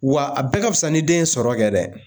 Wa a bɛɛ ka fisa ni den ye sɔrɔ kɛ dɛ